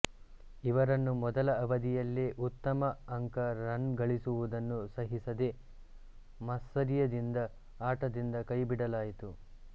ಇವರನ್ನು ಮೊದಲ ಅವಧಿಯಲ್ಲೇ ಉತ್ತಮ ಅಂಕ ರನ್ ಗಳಿಸುವುದನ್ನು ಸಹಿಸದೇ ಮಾತ್ಸರ್ಯದಿಂದ ಆಟದಿಂದ ಕೈಬಿಡಲಾಯಿತು